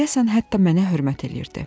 deyəsən hətta mənə hörmət eləyirdi.